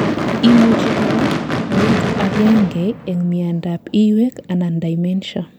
imuchi korak koik agengei en miandap iywek anan dementia